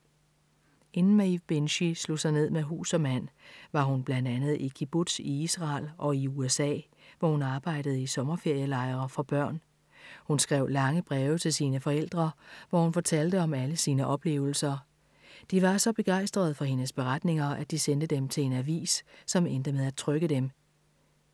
Inden Maeve Binchy slog sig ned med hus og mand, var hun blandt andet i kibbutz i Israel og i USA, hvor hun arbejdede i sommerferielejre for børn. Hun skrev lange breve til sine forældre, hvor hun fortalte om alle sine oplevelser. De var så begejstrede for hendes beretninger, at de sendte dem til en avis, som endte med at trykke dem.